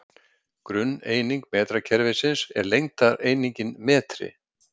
Grunneining metrakerfisins er lengdareiningin metri.